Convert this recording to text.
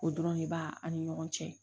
O dɔrɔn de b'a an ni ɲɔgɔn cɛ